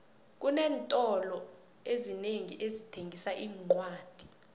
xinentolo ezinengi ezithengisa iincwadi